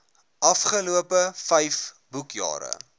afgelope vyf boekjare